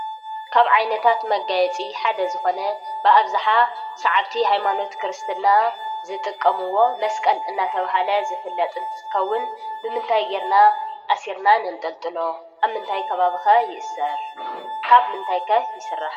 ካብ ዓይነታት መጋየፂ ሓደ ዝኾነ ብኣብዛሓ ሳዓብቲ ሃይማኖት ክርስትና ዝጥቀምዎ መስቀል እናተባህለ ዝፍለጥ እንትኸውን ብምንታይ ገይርና ኣሲርና ነንጥልጥሎ ?ኣብ ምንታይ ከባቢ ከ ይእሰር ?ካብ ምንታይ ከ ይስራሕ?